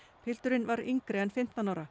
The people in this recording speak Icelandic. pilturinn var yngri en fimmtán ára